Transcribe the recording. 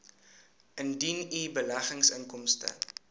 indien u beleggingsinkomste